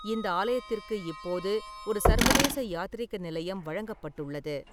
இந்த ஆலயத்திற்கு இப்போது ஒரு சர்வதேச யாத்ரீக நிலையம் வழங்கப்பட்டுள்ளது.